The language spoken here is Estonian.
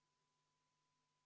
Teeme kümneminutilise vaheaja, palun!